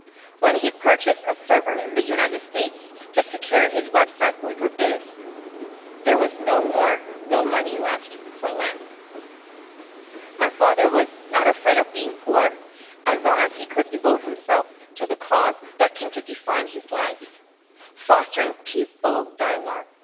When he purchased a server in the United States to secure his website Uyghur Biz', there was no money left for lamb. My father was not afraid of being poor as long as he could devote himself to the cause that came to define his life fostering peaceful dialogue